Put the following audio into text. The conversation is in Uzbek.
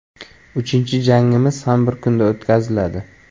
Uchinchi jangimiz ham bir kunda o‘tkaziladi.